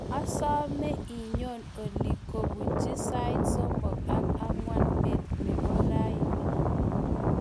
asome inyo olie kobunji sait somok ak ang'wan beet nebo raini